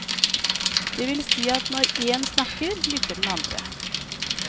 Det vil si at når én snakker, lytter den andre.